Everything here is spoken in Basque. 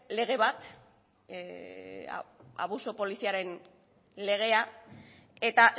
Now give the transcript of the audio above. lege bat abuso polizialaren legea eta